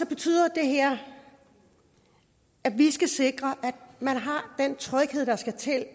betyder det her at vi skal sikre at man har den tryghed der skal til